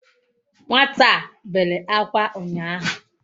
Nwata a bele akwa unyahu